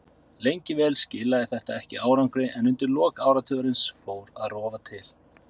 Lengi vel skilaði þetta ekki árangri en undir lok áratugarins fór að rofa til.